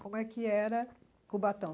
Como é que era Cubatão?